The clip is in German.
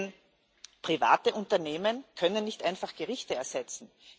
Denn private Unternehmen können nicht einfach Gerichte ersetzen.